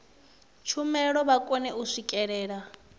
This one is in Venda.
tshumelo vha kone u swikelela